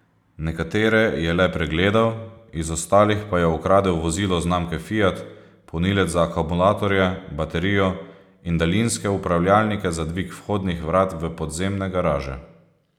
Nekatere je le pregledal iz ostalih pa je ukradel vozilo znamke Fiat, polnilec za akumulatorje, baterijo in daljinske upravljalnike za dvig vhodnih vrat v podzemne garaže.